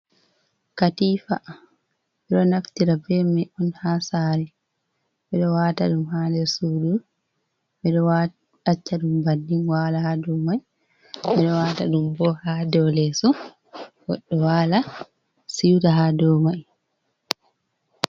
Katifaa ɓe ɗo naftira be mai on ha saare, ɓe ɗo wata ɗum ha nder suudu, ɓe ɗo wawa acca ɗum bannin wala ha dou mai, ɓe ɗo wata ɗum bo ha dou leeso goɗɗo waala siuta ha dou mai.